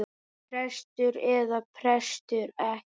Prestur eða prestur ekki.